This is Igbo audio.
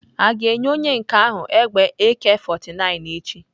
A ga-enye onye nke ahụ egbe Ak49 echi?